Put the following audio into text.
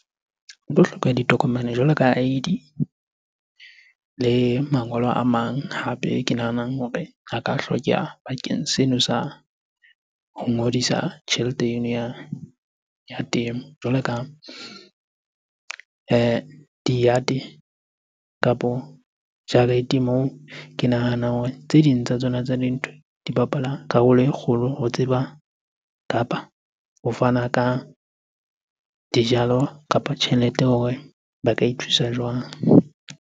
O tlo hloka ditokomane jwalo ka I_D le mangolo a mang. Hape ke nahanang hore a ka hlokeha bakeng seno sa ho ngodisa tjhelete eno ya temo. Jwalo ka di-yard-e kapo jarete moo. Ke nahana hore tse ding tsa tsona tsa dintho, di bapala karolo e kgolo ho tseba kapa ho fana ka dijalo kapa tjhelete hore ba ka ithusa jwang?